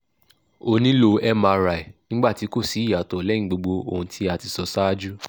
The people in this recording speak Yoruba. o nilo mri nigba ti ko si iyato leyin gbogbo ohun ti a ti so saaju